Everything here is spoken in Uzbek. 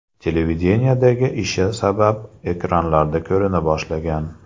Televideniyedagi ishi sabab ekranlarda ko‘rina boshlagan.